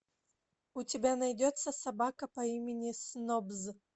у тебя найдется собака по имени снобз